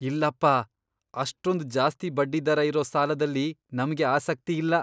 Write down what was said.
ಇಲ್ಲಪ್ಪ! ಅಷ್ಟೊಂದ್ ಜಾಸ್ತಿ ಬಡ್ಡಿದರ ಇರೋ ಸಾಲದಲ್ಲಿ ನಮ್ಗೆ ಆಸಕ್ತಿ ಇಲ್ಲ.